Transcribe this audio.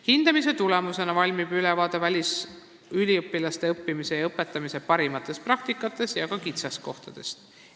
Hindamise tulemusena valmib ülevaade välisüliõpilaste õppimise ja õpetamise parimatest praktikatest ja ka kitsaskohtadest.